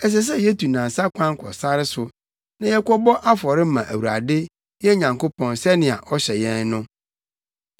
Ɛsɛ sɛ yetu nnansa kwan kɔ sare so, na yɛkɔbɔ afɔre ma Awurade, yɛn Nyankopɔn, sɛnea ɔhyɛ yɛn no.”